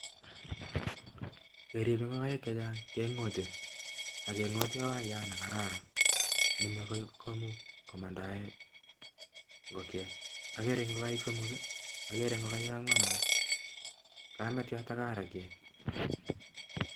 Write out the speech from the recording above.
Keripe ngokaiik chechang kengote agengotee wayat neripe mandate ngokaik agagere ngoik agere kametyat AK arwet